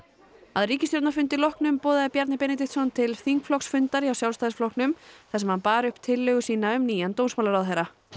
að ríkisstjórnarfundi loknum boðaði Bjarni Benediksson til þingflokksfundar hjá Sjálfstæðisflokknum þar sem hann bar upp tillögu sína um nýjan dómsmálaráðherra